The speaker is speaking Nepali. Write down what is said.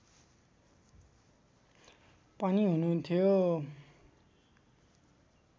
पनि हुनुहुन्थ्यो